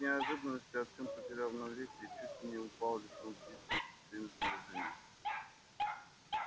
от неожиданности артем потерял равновесие и чуть не упал лицом вниз вместе со всем своим снаряжением